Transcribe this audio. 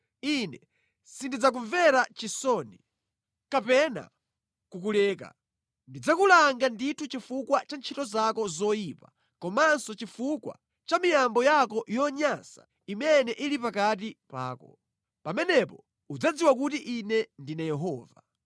Ine sindidzakumvera chisoni kapena kukuleka. Ndidzakulanga ndithu chifukwa cha ntchito zako zoyipa komanso chifukwa cha miyambo yako yonyansa imene ili pakati pako. Pamenepo udzadziwa kuti Ine ndine Yehova.”